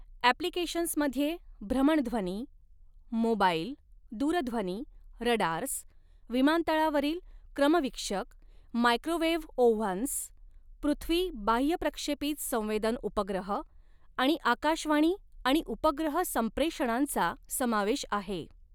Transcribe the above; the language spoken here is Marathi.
ॲप्लिकेशन्समध्ये भ्रमणध्वनी मोबाइल, दूरध्वनी, रडार्स, विमानतळावरील क्रमवीक्षक, मायक्रोवेव्ह ओव्हन्स, पृथ्वी बाह्यप्रक्षेपित संवेदन उपग्रह आणि आकाशवाणी आणि उपग्रह संप्रेषणांचा समावेश आहे.